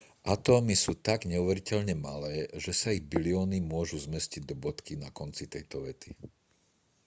atómy sú tak neuveriteľne malé že sa ich bilióny môžu zmestiť do bodky na konci tejto vety